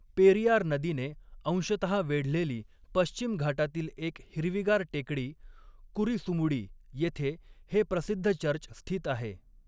पेरियार नदीने अंशतः वेढलेली पश्चिम घाटातील एक हिरवीगार टेकडी, कुरीसुमुडी, येथे हे प्रसिद्ध चर्च स्थित आहे.